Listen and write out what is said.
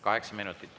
Kaheksa minutit.